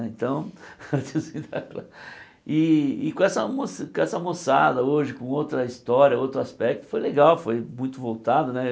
Então era o tiozinho da classe e e com essa moça moçada hoje, com outra história, outro aspecto, foi legal, foi muito voltado né.